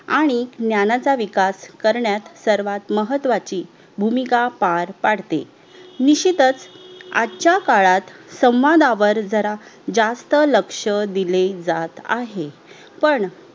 आणि ज्ञांनाचा विकास करण्यात सर्वात महत्वाची भूमिका पार पाडते निशितच आजच्या काळात संवादावर जरा जास्त लक्ष्य दिले जात आहे पण